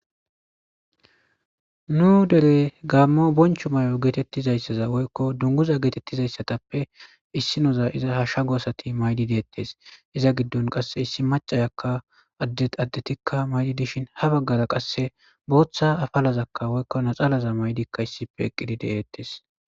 nu dere gaammo boncho may7o geetettizayssaza woykko dunguza geetettizayssatappe issi noza iza ha shshago asati maydi deettes iza giddon qasse issi macayakka addeaddetikka maydi dishin ha baggara qasse booththa afalazakka woykkona xalaza maydikka issipe eqqidi de7eettes